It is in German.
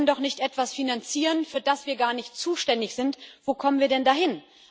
Wir können doch nicht etwas finanzieren, für das wir gar nicht zuständig sind wo kommen wir denn da hin?